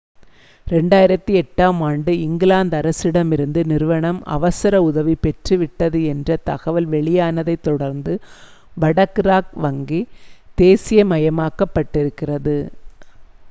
2008 ஆம் ஆண்டு இங்கிலாந்து அரசிடமிருந்து நிறுவனம் அவசர உதவி பெற்று விட்டது என்ற தகவல் வெளியானதைத் தொடர்ந்து வடக்கு ராக் வங்கி தேசியமாக்கப்பட்டிருக்கிறது